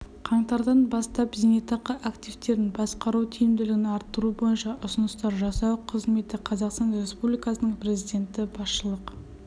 қаңтардан бастап зейнетақы активтерін басқару тиімділігін арттыру бойынша ұсыныстар жасау қызметі қазақстан республикасының президенті басшылық